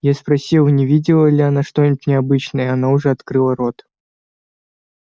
я спросил не видела ли она что-нибудь необычное она уже открыла рот